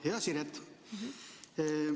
Hea Siret!